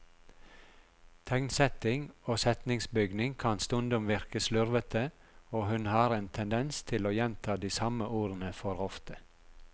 Tegnsetting og setningsbygning kan stundom virke slurvete, og hun har en tendens til å gjenta de samme ordene for ofte.